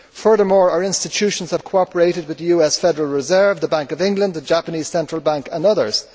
Furthermore, our institutions have cooperated with the US Federal Reserve, the Bank of England, the Japanese Central Bank and others.